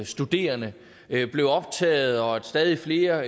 studerende blev optaget og stadig flere